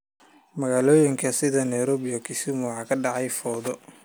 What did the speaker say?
Magaalooyinka sida Nairobi iyo Kisumu waxaa ka dhacay fowdo.